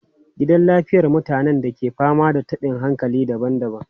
Gidan lafiyar mutanen ke fama da tabin hankali daban-daban.